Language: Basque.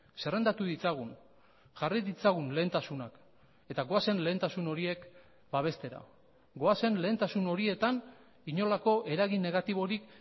zerrendatu ditzagun jarri ditzagun lehentasunak eta goazen lehentasun horiek babestera goazen lehentasun horietan inolako eragin negatiborik